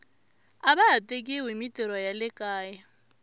ava ha tekiwi himitirho ya le kaya